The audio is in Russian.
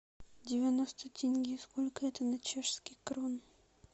девяносто тенге сколько это на чешские кроны